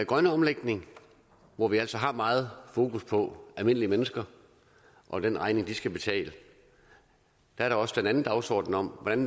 grønne omlægning hvor vi altså har meget fokus på almindelige mennesker og den regning de skal betale er der også den anden dagsorden om hvordan